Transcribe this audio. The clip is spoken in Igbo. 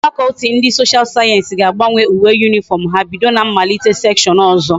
Faculty ndi social science ga agbanwe uwe uniform ha bido na mmalite section ozo